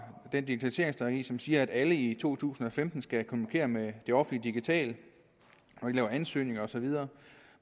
den digitaliseringsstrategi som siger at alle i to tusind og femten skal kommunikere med det offentlige digitalt lave ansøgninger og så videre